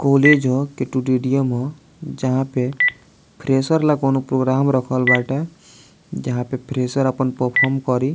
college ह ह जहां पे फ्रेशर ला कोनो प्रोग्राम रखल बांटे जहां पर फ्रेशर अपन परफॉर्म करी --